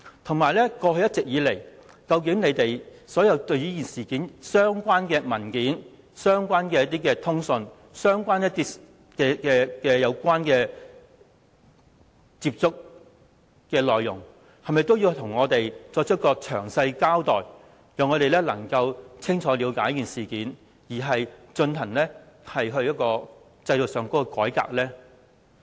此外，過去一直以來，政府在這事件上的相關文件、通訊和曾作出的接觸的內容，是否也應向我們作出詳細交代，讓我們清楚了解事件，從而進行制度上的改革？